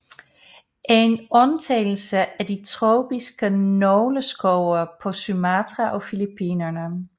En undtagelse er de tropiske nåleskove på Sumatra og Filippinerne